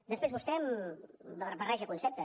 després vostè barreja conceptes